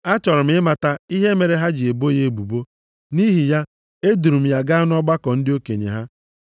Achọrọ m ịmata ihe mere ha ji ebo ya ebubo, nʼihi ya eduuru m ya gaa nʼọgbakọ ndị okenye ha.